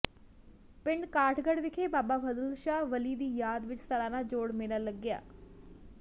ਪਿੰਡ ਕਾਠਗੜ੍ਹ ਵਿਖੇ ਬਾਬਾ ਫਜ਼ਲ ਸ਼ਾਹ ਵਲੀ ਦੀ ਯਾਦ ਵਿਚ ਸਾਲਾਨਾ ਜੋੜ ਮੇਲਾ ਲੱਗਿਆ